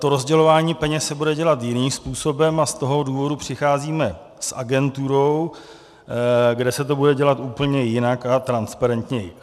To rozdělování peněz se bude dělat jiným způsobem a z toho důvodu přicházíme s agenturou, kde se to bude dělat úplně jinak a transparentněji.